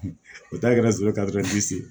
O ta kɛra sɛbɛ ye